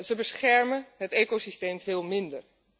Ze beschermen het ecosysteem veel minder.